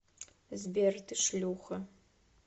сбер ты шлюха